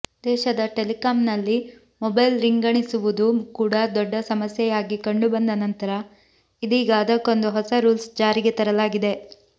ದೇಶದ ಟೆಲಿಕಾಂನಲ್ಲಿ ಮೊಬೈಲ್ ರಿಂಗಣಿಸುವುದು ಕೂಡ ದೊಡ್ಡ ಸಮಸ್ಯೆಯಾಗಿ ಕಂಡುಬಂದ ನಂತರ ಇದೀಗ ಅದಕ್ಕೊಂದು ಹೊಸ ರೂಲ್ಸ್ ಜಾರಿಗೆ ತರಲಾಗಿದೆ